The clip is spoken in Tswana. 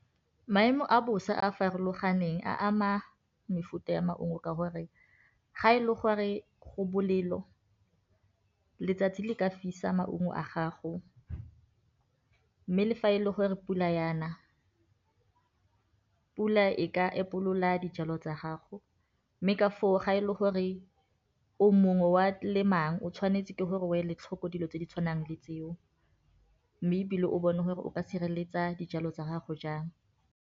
Maemo a bosa a a farologaneng a ama mefuta ya maungo ka gore, ga e le gore go bolelo letsatsi le ka fisa maungo a gago, mme le fa e le gore pula yana pula e ka epolola dijalo tsa gago mme ka foo ga e le gore o mongwe wa le mang o tshwanetse ke gore o eletlhoko dilo tse di tshwanang le tseo, mme e bile o bone gore o ka sireletsa dijalo tsa gago jang.